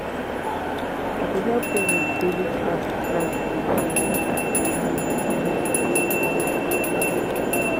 i dey help dem with daily tasks like cooking and cleaning to make life easier.